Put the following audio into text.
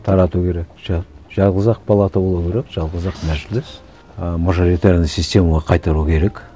тарату керек жалғыз ақ палата болу керек жалғыз ақ мәжіліс ы мажилитарная системаға қайтару керек